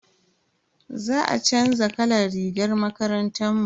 Za a chanza kalan rigar makarantar mu.